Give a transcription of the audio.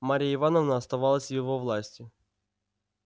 марья ивановна оставалась в его власти